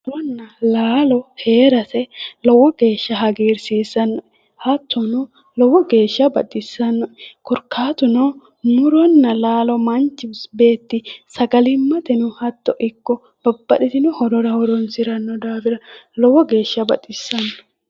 Muronna laalo heerate lowo geesha hagiirsiisanno'e hattono lowo geesha baxissanno'e korkaatuno muronna laalo manchi beetti sagalimmateno hatto ikko babbaxxitino horora horoonsiranno daafira lowo geesha baxissanno